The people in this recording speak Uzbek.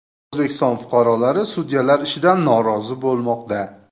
O‘zbekiston fuqarolari sudyalar ishidan norozi bo‘lmoqda .